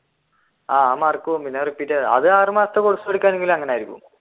ആഹ് mark പോവും പിന്നെ repeat എഴുതാ ആറു മാസത്തെ